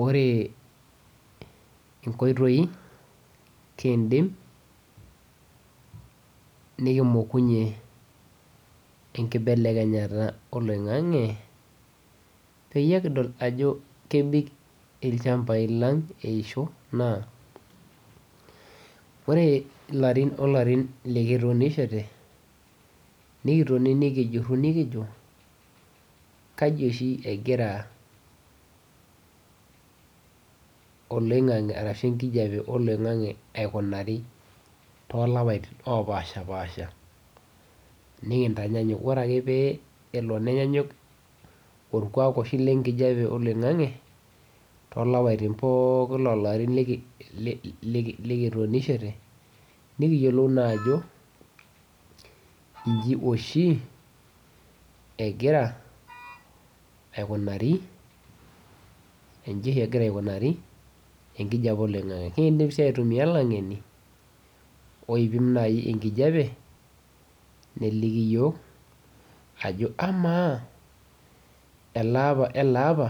Ore inkoitoi nikindim nikimokunye enkibelekenyata oloing'ang'e peyie kidol ajo kebik ilchambai lang eisho, naa ore ilarin olarin likitoni kituunishete, nikitoni tenebo ninijo kaji oshi egira oloing'ang'e arashu enkijepe oloing'ang'e aikunari too lapatin opashipaasha, nikintenyenyuk, ore ake pee elo nenyanyuk olkuak oshi le inkijepe oloing'ang'e to lapatin pookin lo larin likituunishete, nikiyiolou naa ajo enji oshi egira aikunari, enji egira aikunari enkijepe eloing'ang'e, nikindim sii aitumiya laing'eni oidim nai enkijepe neliki yook ajo amaa aleapa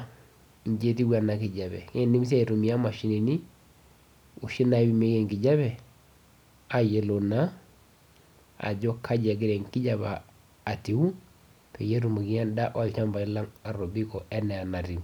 enji etiu ena enkijepe, nikindimsii aitumiya imashinini oshi naipimieki enkijepe ayiolou naa ajo kaji egira enkijepe atiu peyie etumoki anda ilchambai lang atobiko anaa enetiu.